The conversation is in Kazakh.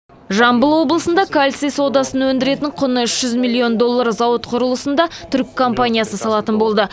жамбыл облысында кальций содасын өндіретін құны үш жүз миллион доллар зауыт құрылысын да түрік компаниясы салатын болды